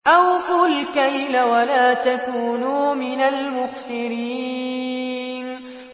۞ أَوْفُوا الْكَيْلَ وَلَا تَكُونُوا مِنَ الْمُخْسِرِينَ